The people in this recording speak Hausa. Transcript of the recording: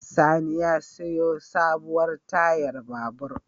Sani ya sayo sabuwar tayar babur.